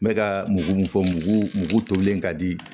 N bɛ ka mugu mun fɔ mugu mugu tolen ka di